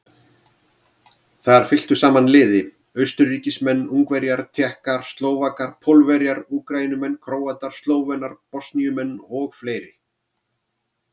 Þar fylktu saman liði Austurríkismenn, Ungverjar, Tékkar, Slóvakar, Pólverjar, Úkraínumenn, Króatar, Slóvenar, Bosníumenn og fleiri.